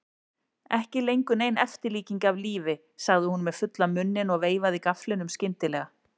Ekki lengur nein eftirlíking af lífi, sagði hún með fullan munninn og veifaði gafflinum skyndilega.